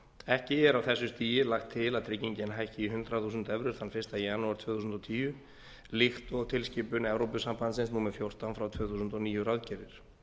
ekki er á þessu stigi lagt til að tryggingin hækki í hundrað þúsund evrur þann fyrsta janúar tvö þúsund og tíu líkt og tilskipun evrópusambandsins númer fjórtán frá tvö þúsund og níu ráðgerir